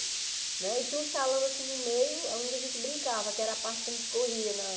Né e tinha um salão assim no meio, onde a gente brincava, que era a parte que a gente corria na.